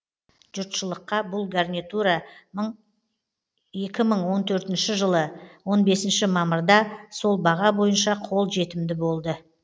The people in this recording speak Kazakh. жұртшылыққа бұл гарнитура екі мың он төртінші жылы он бесінші мамырда сол баға бойынша қол жетімді болды